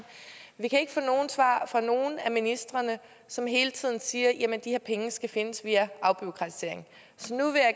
vi kan ikke få nogen svar fra nogen af ministrene som hele tiden siger at de her penge skal findes via afbureaukratisering så nu vil jeg